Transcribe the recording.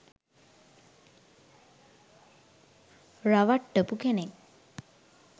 රවට්ටපු කෙනෙක්.